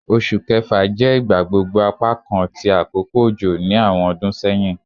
Oṣu Kẹfa jẹ igbagbogbo apakan ti akoko ojo ni awọn ọdun sẹhin